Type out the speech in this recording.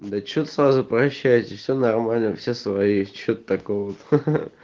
да что сразу прощаетесь всё нормально все свои что тут такого